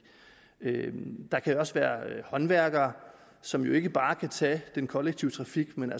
der kan også være håndværkere som jo ikke bare kan tage den kollektive trafik men